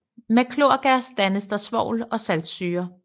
Med klorgas dannes der svovl og saltsyre